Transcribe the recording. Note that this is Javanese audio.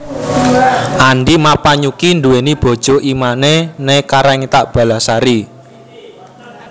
Andi Mappanyukki nduweni bojo I Mane ne Karaengta Ballasari